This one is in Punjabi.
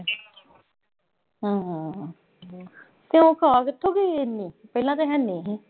ਹਮ ਤੇ ਉਹ ਆ ਕਿੱਥੋਂ ਗਈ ਇੰਨੀ ਪਹਿਲਾਂ ਤਾਂ ਹੈਨੀ।